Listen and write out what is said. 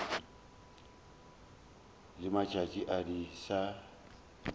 le matšatši a di sa